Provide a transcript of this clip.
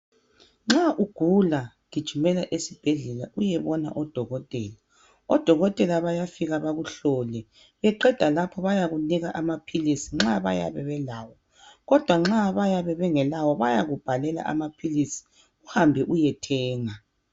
nxa ugula gijimela esibhedlela uyebona o dokotela o dokotela bayafika bakuhlole beqeda lapho bayakunika amaphilisi nxa beyabe belawo kodwa nxa beyabe bengelawo bayakubhalela amaphilisi uhambe uyethenga